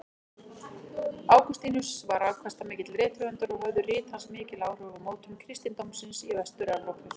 Ágústínus var afkastamikill rithöfundur og höfðu rit hans mikil áhrif á mótun kristindómsins í Vestur-Evrópu.